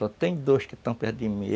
Só tem dois que estão perto de mim.